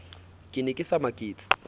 ke ne ke sa maketse